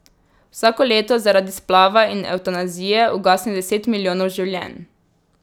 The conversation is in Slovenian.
Vsako leto zaradi splava in evtanazije ugasne deset milijonov življenj.